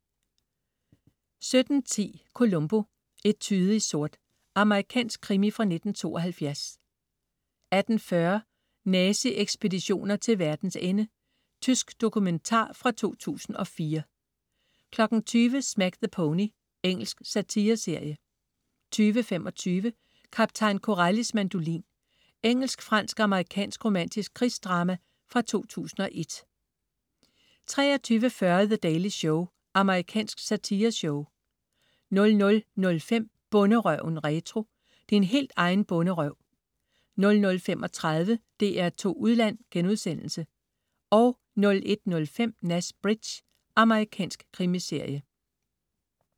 17.10 Columbo: Etude i sort. Amerikansk krimi fra 1972 18.40 Nazi-ekspeditioner til verdens ende. Tysk dokumentar fra 2004 20.00 Smack the Pony. Engelsk satireserie 20.25 Kaptajn Corellis mandolin. Engelsk-fransk-amerikansk romantisk krigsdrama fra 2001 23.40 The Daily Show. Amerikansk satireshow 00.05 Bonderøven retro. Din helt egen bonderøv 00.35 DR2 Udland* 01.05 Nash Bridges. Amerikansk krimiserie